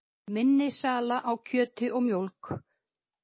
Minni sala á kjöti og mjólk